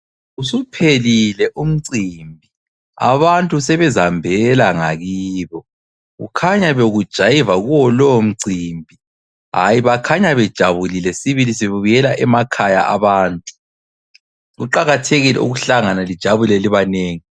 Usuphelile umcimbi, abantu sebezihambela ngakibo. Kukhanya bekujayivwa kuwo lowo mcimbi hayi bakhanya bejabulile sibili sebebuyela emakhaya abantu. Kuqakathekile ukuhlangana lijabule libanengi.